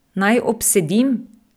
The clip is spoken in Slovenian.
Naj obsedim?